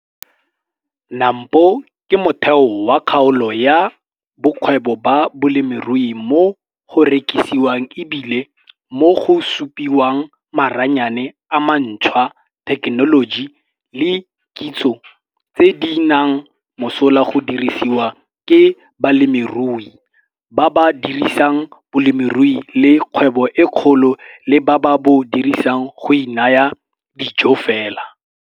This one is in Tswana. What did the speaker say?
NAMPO ke motheo wa kgaolo ya bokgwebo ba bolemirui mo go rekisiwang e bile mo go supiwang maranyane a mantshwa, thekenoloji le kitso tse di nang mosola go dirisiwa ke balemirui, ba ba dirisang bolemirui e le kgwebo e kgolo le ba ba bo dirisang go inaya dijo fela.